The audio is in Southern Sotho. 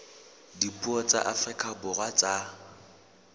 dipuo tsa afrika borwa tsa